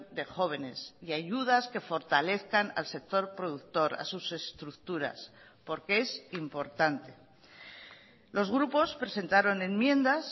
de jóvenes y ayudas que fortalezcan al sector productor a sus estructuras porque es importante los grupos presentaron enmiendas